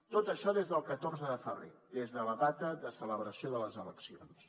tot això des del catorze de febrer des de la data de celebració de les eleccions